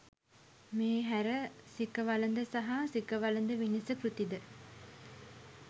මේ හැර සිඛවළඳ සහ සිඛවළඳ විනිස කෘති ද